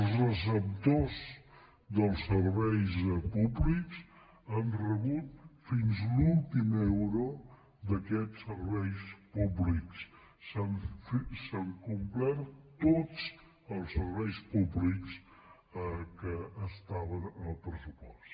els receptors dels serveis públics han re·but fins a l’últim euro d’aquests serveis públics s’han complert tots els serveis públics que estaven en el pres·supost